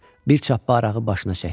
Bir çappa arağı başına çəkdi.